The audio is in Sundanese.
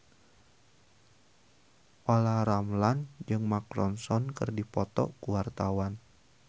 Olla Ramlan jeung Mark Ronson keur dipoto ku wartawan